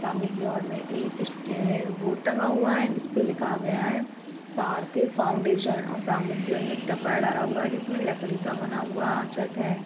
सामने की ओर मे एक स बोर्ड टंगा हुआ है जिसपे लिखा गया है सर्थिक फाउंडेशन और सामने की ओर मे एक टापरा डाला हुआ है जिसमे लकड़ी का बनाया हुआ छत है।